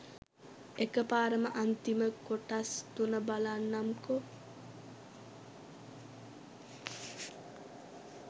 එක පාරම අන්තිම කොටස් තුන බලන්නම්කෝ